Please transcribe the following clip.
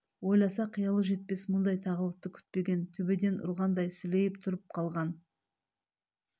ойласа қиялы жетпес мұндай тағылықты күтпеген төбеден ұрғандай сілейіп тұрып қалған